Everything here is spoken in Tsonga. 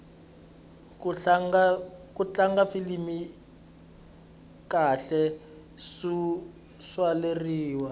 ku tlanga filimi kahle swo tswaleriwa